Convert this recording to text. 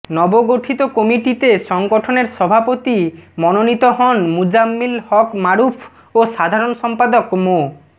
নবগঠিত কমিটিতে সংগঠনের সভাপতি মনোনীত হন মুজাম্মিল হক মারুফ ও সাধারণ সম্পাদক মো